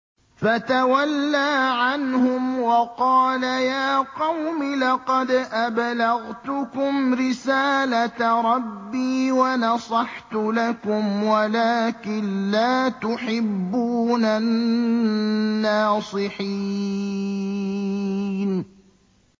فَتَوَلَّىٰ عَنْهُمْ وَقَالَ يَا قَوْمِ لَقَدْ أَبْلَغْتُكُمْ رِسَالَةَ رَبِّي وَنَصَحْتُ لَكُمْ وَلَٰكِن لَّا تُحِبُّونَ النَّاصِحِينَ